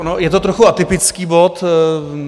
On je to trochu atypický bod.